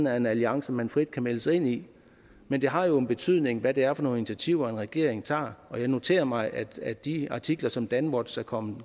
er en alliance man frit kan melde sig ind i men det har jo en betydning hvad det er for nogle initiativer en regering tager og jeg noterer mig af de artikler som danwatch er kommet